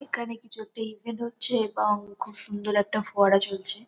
এখানে কিছু একটা ইভেন্ট হচ্ছে-এ এবং খুব সুন্দর একটা ফোয়ারা চলছে--